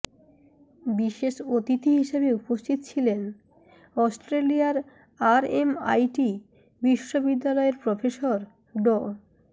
বিশেষ অতিথি হিসেবে উপস্থিত ছিলেন অস্ট্রেলিয়ার আরএমআইটি বিশ্ববিদ্যালয়ের প্রফেসর ড